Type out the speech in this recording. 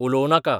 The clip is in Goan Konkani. उलोव नाका